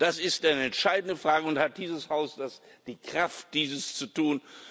Das ist eine entscheidende Frage und hat dieses Haus die Kraft, dies zu tun?